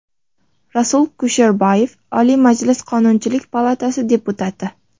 Rasul Kusherbayev, Oliy Majlis Qonunchilik palatasi deputati.